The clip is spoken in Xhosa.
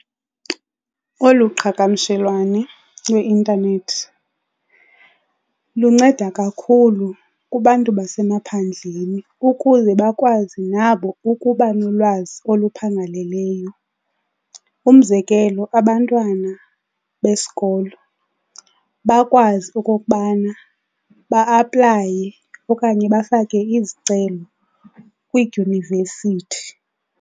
Oluqhagamshelwano lweintanethi lunceda kakhulu kubantu basemaphandleni ukuze bakwazi nabo ukuba nolwazi oluphangaleleyo. Umzekelo, abantwana besikolo bakwazi okokubana ba-aplaye okanye bafake izicelo kwiidyunivesithi.